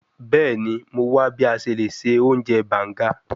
Bẹẹni, Mo wa bi a ṣe le ṣe ounjẹ banga